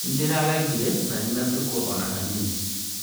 Nĩndĩra gegire na ndinatũkwo ona hanini